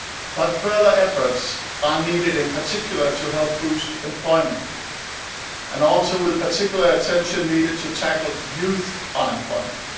But further efforts are needed, in particular to help boost employment, and particular attention is also needed to tackle youth unemployment.